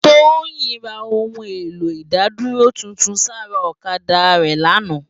Toyin rá óoun éló idádúró tútún sãrá òkadá rè làná